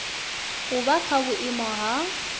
u vha kha vhuiimo ha